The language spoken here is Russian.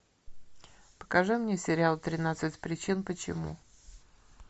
покажи мне сериал тринадцать причин почему